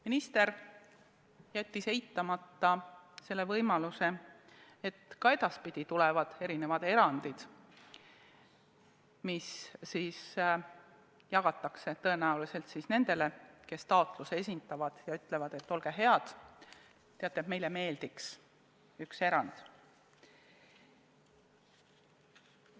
Minister jättis eitamata selle võimaluse, et ka edaspidi tulevad mingid erandid, mille korral siis raha jagatakse tõenäoliselt nendele, kes taotluse esitavad ja ütlevad, et teate, meile meeldiks üks erand, olge head ja tehke see.